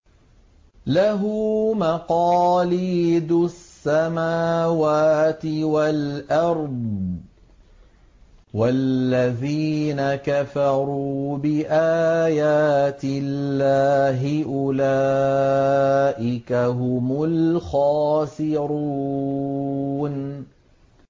لَّهُ مَقَالِيدُ السَّمَاوَاتِ وَالْأَرْضِ ۗ وَالَّذِينَ كَفَرُوا بِآيَاتِ اللَّهِ أُولَٰئِكَ هُمُ الْخَاسِرُونَ